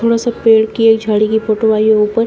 थोड़ा सा पेड़ की एक झाड़ी की फोटो आई है ऊपर।